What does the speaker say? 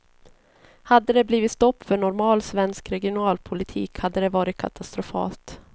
Hade det blivit stopp för normal svensk regionalpolitik hade det varit katastrofalt.